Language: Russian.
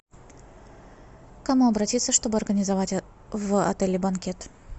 к кому обратиться чтобы организовать в отеле банкет